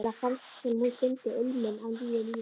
Kamilla fannst sem hún fyndi ilminn af nýju lífi.